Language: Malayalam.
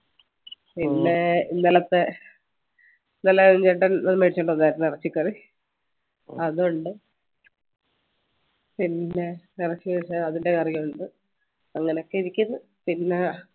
പിന്നെ ഇന്നലത്തെ ഇന്നലെ മേടിച്ചു കൊണ്ടുവന്നായിരുന്നു chicken അതുണ്ട് പിന്നെ അതിൻറെ curry യുണ്ട് അങ്ങനെയൊക്കെരിക്കുന്ന പിന്നെ